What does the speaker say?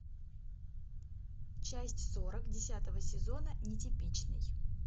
часть сорок десятого сезона нетипичный